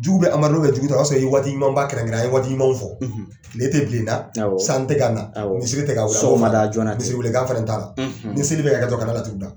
Jugu bɛ amadu la jugu t'a la, o y'a sɔrɔ ye waati ɲuman ba kɛrɛnkɛrɛn, an ye waati ɲumanw fɔ ,: tile tɛ bilen na, awɔ, san tɛ ka na, awɔ, misiri tɛ ka ,sɔgɔma da joona tɛ, misiri welekan fɛnɛ t'a la, ni seli bɛ ka kɛ dɔrɔn kana laturu da